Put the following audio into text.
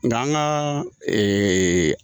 Nka an ka